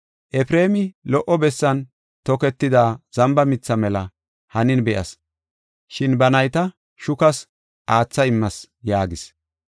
Efreemi lo77o bessan toketida zamba mitha mela hanin be7as, shin ba nayta shukas aatha immis” yaagis.